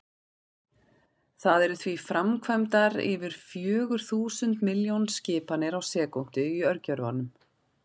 Það eru því framkvæmdar yfir fjögur þúsund milljón skipanir á sekúndu í örgjörvanum!